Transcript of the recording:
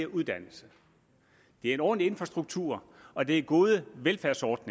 uddannelse det er en ordentlig infrastruktur og det er gode velfærdsordninger